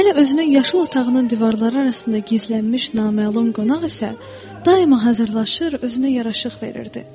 Hələ özünün yaşıl otağının divarları arasında gizlənmiş naməlum qonaq isə daima hazırlanırdı, özünə yaraşıq verirdi.